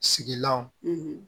Sigilanw